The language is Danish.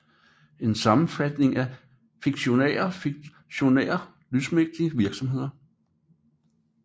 En sammenblanding af fiktionære og faktionære lysmæssige virkemidler